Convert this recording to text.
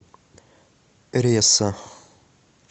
ресо